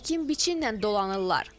Əkin-biçinlə dolanırlar.